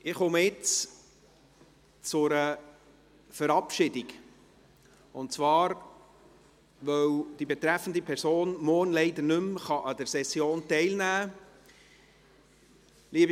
Ich komme ich nun zu einer Verabschiedung, und zwar, weil die betreffende Person morgen leider nicht mehr an der Session teilnehmen kann.